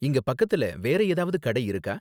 இங்க பக்கத்துல வேற ஏதாவது கடை இருக்கா?